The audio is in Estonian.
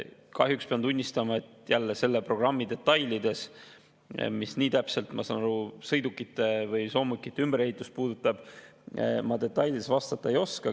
Kahjuks pean jälle tunnistama, et selle programmi kohta – mis nii täpselt, ma saan aru, sõidukite või soomukite ümberehitust puudutab – ma vastata ei oska.